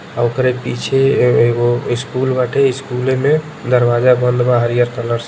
आ ओकरे पीछे ए एगो स्कूल बा। आ स्कूले में दरवाजा बंद बा। हरिहर कलर से --